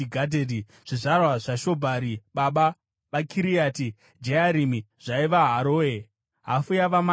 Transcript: Zvizvarwa zvaShobhari baba vaKiriati Jearimi zvaiva: Haroe, hafu yavaManahati,